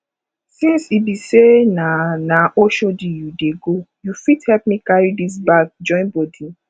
since e be sey na na oshodi you dey go you fit help me carry dis bag join body